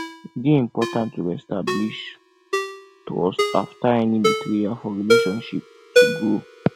e dey important to reestablish trust after any betrayal for relationships to grow